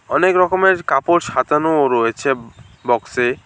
অনেক রকমের কাপড় সাজানোও রয়েছে বক্সে।